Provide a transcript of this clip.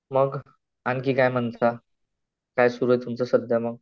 मग आणखी काय म्हणता? काय सुरु आहे सध्या तुमचं मग?